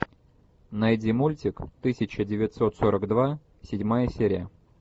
найди мультик тысяча девятьсот сорок два седьмая серия